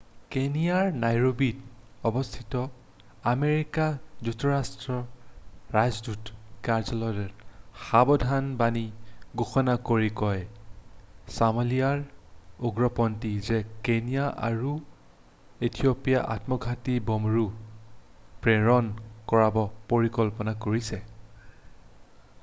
"কেনিয়াৰ নাইৰোবিত অৱস্থিত আমেৰিকা যুক্তৰাষ্ট্ৰৰ ৰাষ্ট্ৰদূতৰ কাৰ্যালয়টোৱে সাবধানবাণী ঘোষণা কৰি কয় যে "ছোমালিয়াৰ উগ্ৰপন্থী""য়ে কেনিয়া আৰু ইথিঅ'পিয়াত আত্মঘাতী বোমাৰু প্ৰেৰণ কৰাৰ পৰিকল্পনা কৰিছে। "